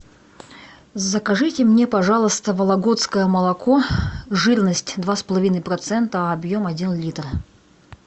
закажите мне пожалуйста вологодское молоко жирность два с половиной процента объем один литр